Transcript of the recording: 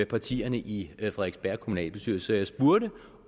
partierne i frederiksberg kommunalbestyrelse jeg spurgte